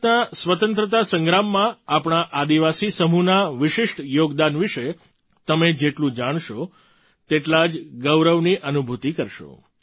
ભારતના સ્વતંત્રતા સંગ્રામમાં આપણા આદિવાસી સમૂહના વિશિષ્ટ યોગદાન વિશે તમે જેટલું જાણશો તેટલા જ ગૌરવની અનુભૂતિ થશે